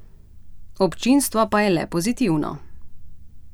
Občinstvo pa je le pozitivno.